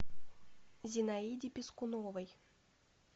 зинаиде пискуновой